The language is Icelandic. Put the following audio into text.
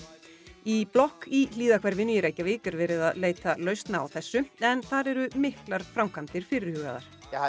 í blokk í í Reykjavík er verið að leita lausna á þessu en þar eru miklar framkvæmdir fyrirhugaðar